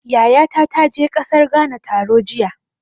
Yayata ta je ƙasar Ghana taro jiya.